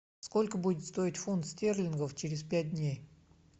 сколько будет стоить фунт стерлингов через пять дней